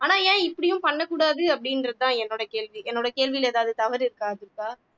ஆனா ஏன் இப்படியும் பண்ணக் கூடாது அப்படின்றதுதான் என்னோட கேள்வி என்னோட கேள்வியிலே ஏதாவது தவறு இருக்கா துர்கா